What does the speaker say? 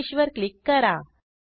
finish वर click करा